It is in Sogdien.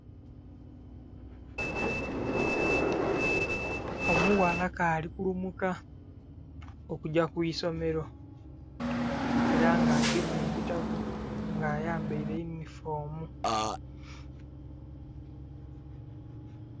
Omughala kali kulumuka okugya ku isomero era nga agemye ebitabo nga ayambaire eyunifoomu.